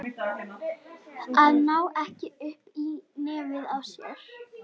Að ná ekki upp í nefið á sér